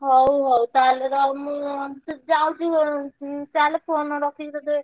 ହଉ ହଉ ତାହେଲେ ରହ ମୁଁ ଯାଉଛି ଘରକୁ ଚାଲ୍ phone ରଖିକି ତତେ,